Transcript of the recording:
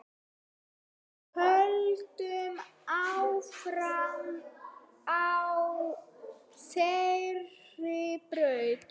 Höldum áfram á þeirri braut.